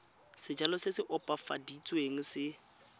sejalo se se opafaditsweng se